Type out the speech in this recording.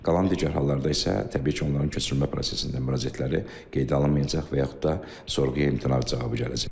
Qalan digər hallarda isə təbii ki, onların köçürülmə prosesində müraciətləri qeydə alınmayacaq və yaxud da sorğuya imtina cavabı gələcək.